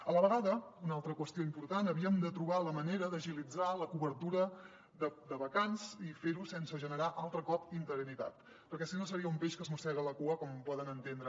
a la vegada una altra qüestió important havíem de trobar la manera d’agilitzar la cobertura de vacants i fer ho sense generar altre cop interinitat perquè si no seria un peix que es mossega la cua com poden entendre